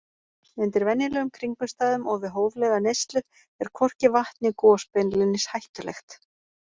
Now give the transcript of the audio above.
Undir venjulegum kringumstæðum og við hóflega neyslu er hvorki vatn né gos beinlínis hættulegt.